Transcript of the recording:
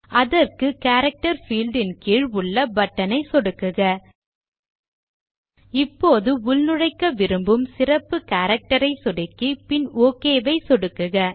அதற்கு character field இன் கீழ் உள்ள பட்டன் ஐ சொடுக்குக இப்போது உள்நுழைக்க விரும்பும் சிறப்பு கேரக்டர் ஐ சொடுக்கி பின் ஒக் ஐ சொடுக்குக